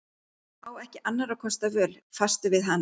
Á ekki annarra kosta völ, fastur við hana.